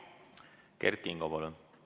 Kert Kingo, palun!